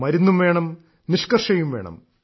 മരുന്നും വേണം നിഷ്ക്കർഷയും വേണം